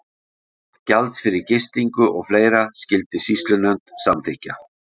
Gjald fyrir gistingu og fleira skyldi sýslunefnd samþykkja.